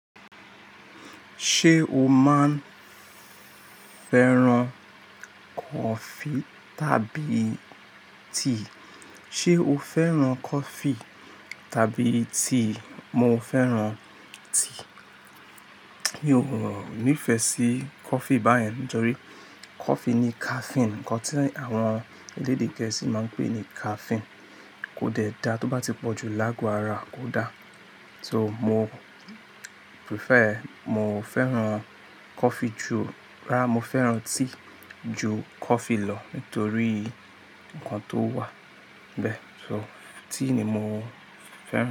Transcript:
Ṣé o máa ń fẹ́ràn coffee tàbí tea? Ṣé o fẹ́ràn coffee tàbí tea? Mo fẹ́ràn tea. Mi ò nífẹ̀ẹ́ sí coffee báyen, nítorí coffee ní caffeine. Ǹkan tí àwọn elédè gẹ̀ẹ́sì máa ń pè ní caffeine kò dẹ̀ da tó bá ti pọ̀ ju láágo ara kò da. So mo prefer, mo fẹ́ràn coffee ju-- rárá, mo fẹ́ràn tea ju coffee lọ nítorí ǹkan tó wà nbẹ. So tea ni mo fẹ́ràn.